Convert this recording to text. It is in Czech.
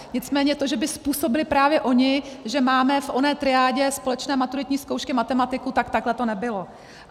Nicméně to, že by způsobily právě ony, že máme v oné triádě společné maturitní zkoušky matematiku, tak takhle to nebylo.